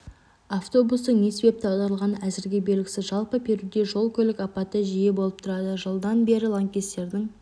автобустың не себепті аударылғаны әзірге белгісіз жалпы перуде жол-көлік апаты жиі болып тұрады жылдан бері лаңкестердің